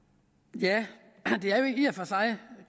det herre